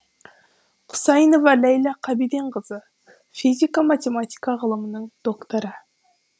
құсайынова ләйла қабиденқызы физика математика ғылымының докторы